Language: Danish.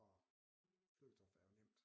Og flødekartofler er jo nemt